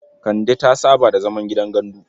Kande ta saba da zaman gidan gandu.